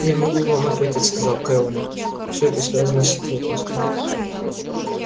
я могу вам ответить сказал кэллнер все это связано с секретностью